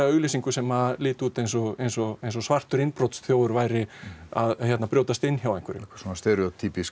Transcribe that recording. auglýsingu sem liti út eins og eins og eins og svartur innbrotsþjófur væri að brjótast inn hjá einhverjum svona